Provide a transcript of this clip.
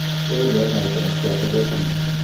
Keile mwaita netya toket inye?